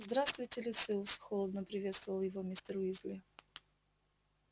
здравствуйте люциус холодно приветствовал его мистер уизли